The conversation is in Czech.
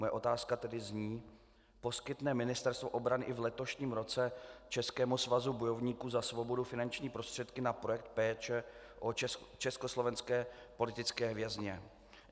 Moje otázka tedy zní: Poskytne Ministerstvo obrany i v letošním roce Českému svazu bojovníků za svobodu finanční prostředky na projekt Péče o československé politické vězně?